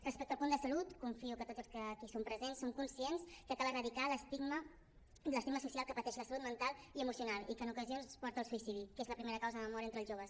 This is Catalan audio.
respecte al punt de salut confio que tots els que aquí som presents som conscients que cal erradicar l’estigma social que pateix la salut mental i emocional i que en ocasions porta al suïcidi que és la primera causa de mort entre els joves